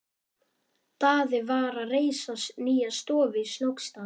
Daði var að reisa nýja stofu í Snóksdal.